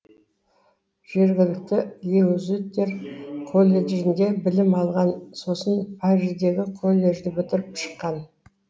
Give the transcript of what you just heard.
жергілікті иезуиттер колледжінде білім алған сосын париждегі колледжді бітіріп шыққан